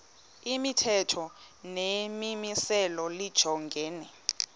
imithetho nemimiselo lijongene